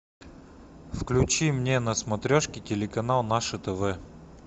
включи мне на смотрешке телеканал наше тв